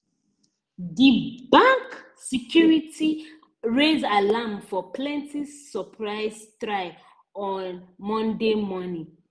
di bank security raise alarm for plenty surprisie try on monday morning